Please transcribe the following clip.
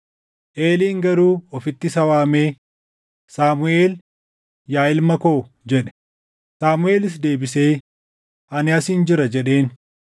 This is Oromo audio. Eeliin garuu ofitti isa waamee, “Saamuʼeel, yaa ilma koo” jedhe. Saamuʼeelis deebisee, “Ani asin jira” jedheen.